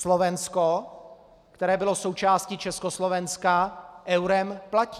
Slovensko, které bylo součástí Československa, eurem platí.